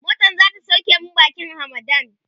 motan zata sauke mu bakin hamadan